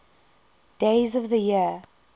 days of the year